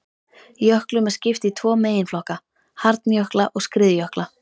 Jöklum er skipt í tvo meginflokka, hjarnjökla og skriðjökla.